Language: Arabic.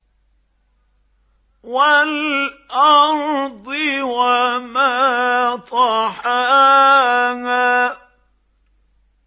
وَالْأَرْضِ وَمَا طَحَاهَا